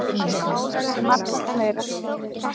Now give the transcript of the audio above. Álagið sé margfalt meira.